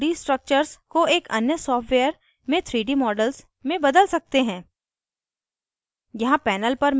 हम अणुओं के 2d structures को एक अन्य सॉफ्टवेयर में 3d models में बदल सकते हैं